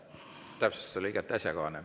Täpsustus oli igati asjakohane.